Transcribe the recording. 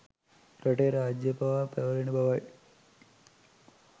රටේ රාජ්‍ය පවා පැවැරෙන බවයි.